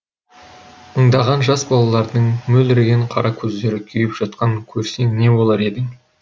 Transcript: мыңдаған жас балалардың мөлдіреген қара көздері күйіп жатқанын көрсең не болар едің